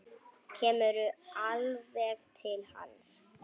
Kemur alveg til hans.